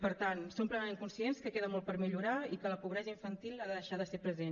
per tant som plenament conscients que queda molt per millorar i que la pobresa infantil ha de deixar de ser present